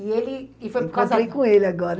E ele... E foi por causa... Encontrei com ele agora.